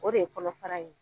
O de ye kɔnɔfara ye